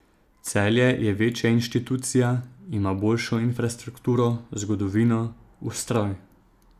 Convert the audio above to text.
Celje je večja inštitucija, ima boljšo infrastrukturo, zgodovino, ustroj.